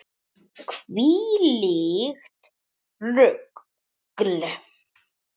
Hvílíkt rugl.